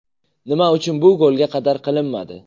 Nima uchun bu golga qadar qilinmadi?